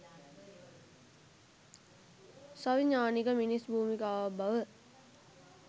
සවිඥානික මිනිස් භූමිකාවක් බව